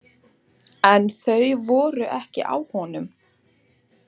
En þau voru ekki á honum!